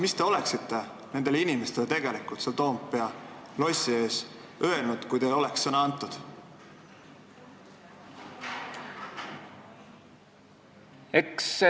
Mis te oleksite nendele inimestele Toompea lossi ees öelnud, kui teile oleks sõna antud?